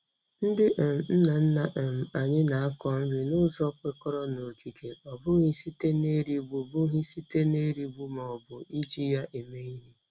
Ndị um nna nna um anyị na-akọ nri n'ụzọ kwekọrọ n'okike, ọ bụghị site n'erigbu bụghị site n'erigbu ma ọ bụ iji ya eme ihe.